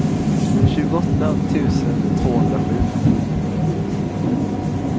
tjugoåtta tusen tvåhundrasju